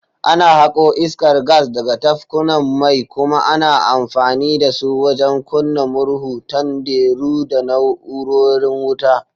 Ana hako iskar gas daga tafkunan mai kuma ana amfani da su wajen kunna murhu, tanderu, da na’urorin wuta.